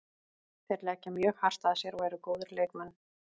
Þeir leggja mjög hart að sér og eru góðir leikmenn.